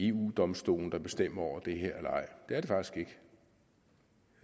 eu domstolen der bestemmer over det her det